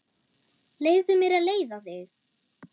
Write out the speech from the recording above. Leyfðu mér að leiða þig.